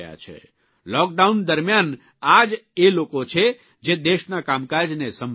lockdown દરમ્યાન આ જ એ લોકો છે જે દેશના કામકાજને સંભાળી રહ્યા છે